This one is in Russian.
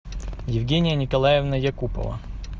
евгения николаевна якупова